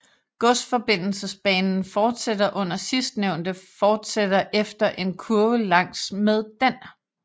Godsforbindelsesbanen fortsætter under sidstnævnte fortsætter efter en kurve langs med den